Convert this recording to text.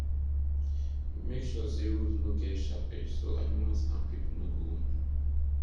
make sure say roof no get sharp edge so animals and people no go wound